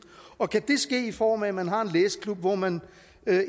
og kan det ske i form af at man har en læseklub hvor man